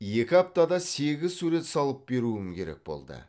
екі аптада сегіз сурет салып беруім керек болды